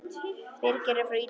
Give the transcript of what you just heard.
Birgir er á Ítalíu.